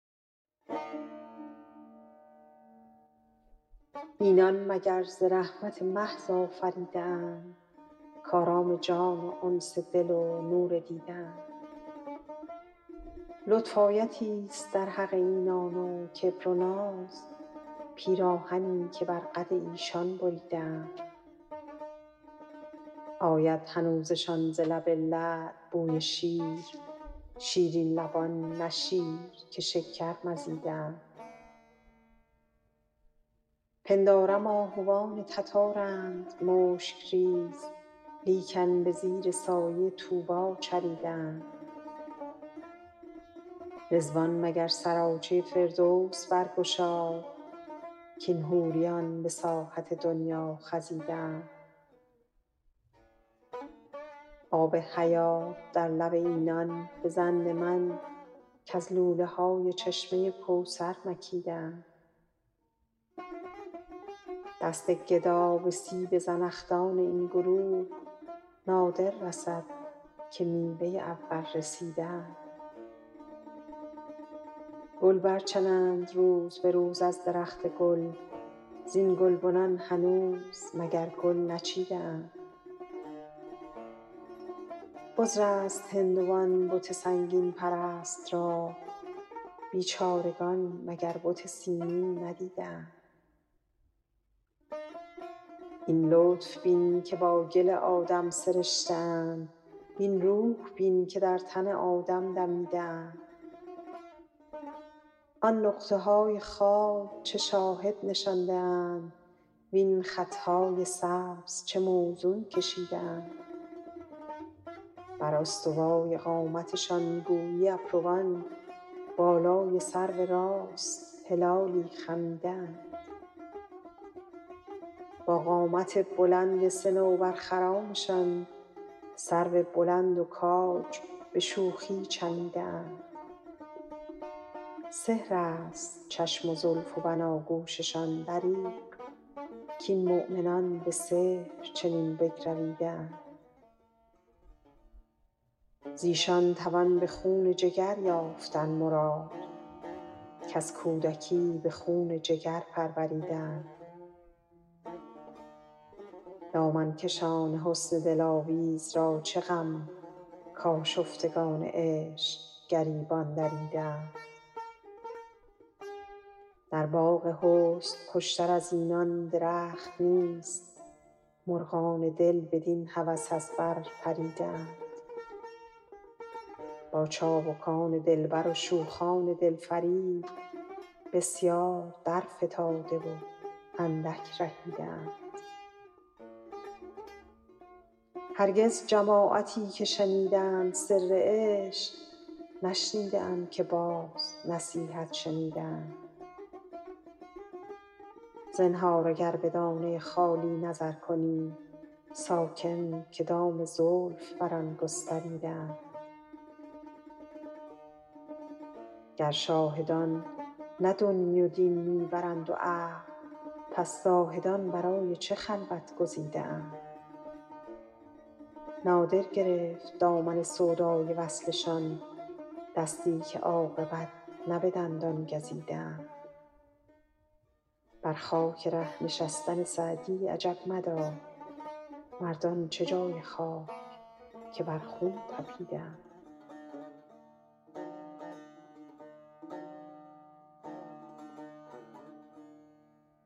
اینان مگر ز رحمت محض آفریده اند کآرام جان و انس دل و نور دیده اند لطف آیتی ست در حق اینان و کبر و ناز پیراهنی که بر قد ایشان بریده اند آید هنوزشان ز لب لعل بوی شیر شیرین لبان نه شیر که شکر مزیده اند پندارم آهوان تتارند مشک ریز لیکن به زیر سایه طوبی چریده اند رضوان مگر سراچه فردوس برگشاد کاین حوریان به ساحت دنیا خزیده اند آب حیات در لب اینان به ظن من کز لوله های چشمه کوثر مکیده اند دست گدا به سیب زنخدان این گروه نادر رسد که میوه اول رسیده اند گل برچنند روز به روز از درخت گل زین گلبنان هنوز مگر گل نچیده اند عذر است هندوی بت سنگین پرست را بیچارگان مگر بت سیمین ندیده اند این لطف بین که با گل آدم سرشته اند وین روح بین که در تن آدم دمیده اند آن نقطه های خال چه شاهد نشانده اند وین خط های سبز چه موزون کشیده اند بر استوای قامتشان گویی ابروان بالای سرو راست هلالی خمیده اند با قامت بلند صنوبرخرامشان سرو بلند و کاج به شوخی چمیده اند سحر است چشم و زلف و بناگوششان دریغ کاین مؤمنان به سحر چنین بگرویده اند ز ایشان توان به خون جگر یافتن مراد کز کودکی به خون جگر پروریده اند دامن کشان حسن دلاویز را چه غم کآشفتگان عشق گریبان دریده اند در باغ حسن خوش تر از اینان درخت نیست مرغان دل بدین هوس از بر پریده اند با چابکان دلبر و شوخان دل فریب بسیار درفتاده و اندک رهیده اند هرگز جماعتی که شنیدند سر عشق نشنیده ام که باز نصیحت شنیده اند زنهار اگر به دانه خالی نظر کنی ساکن که دام زلف بر آن گستریده اند گر شاهدان نه دنیی و دین می برند و عقل پس زاهدان برای چه خلوت گزیده اند نادر گرفت دامن سودای وصلشان دستی که عاقبت نه به دندان گزیده اند بر خاک ره نشستن سعدی عجب مدار مردان چه جای خاک که بر خون طپیده اند